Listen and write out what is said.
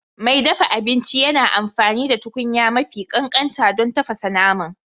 Mai dafa abinci yana amfani da tukunya mafi ƙanƙanta don tafasa naman